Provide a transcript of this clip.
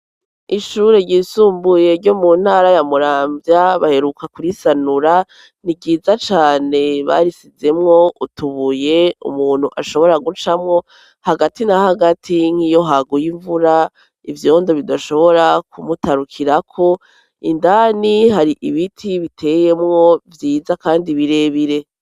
Ishure ryisumbuye ryo mu ntara ya Muramvya baheruka kurisanura, ni vyiza cane barisizemwo utubuye umuntu ashobora gucamwo, hagati na hagati nk'iyo haguye imvura ivyondo bidashobora kumutarukirako, ndani hari ibiti biteyemwo vyiza kandi birebire.